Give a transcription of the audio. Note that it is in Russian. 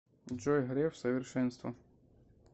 джой греф совершенство